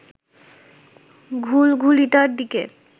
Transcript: ঘুলঘুলিটার দিকে